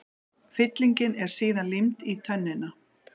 Fyllingin er síðan límd í tönnina.